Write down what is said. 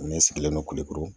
Ne sigilen don kulukoro.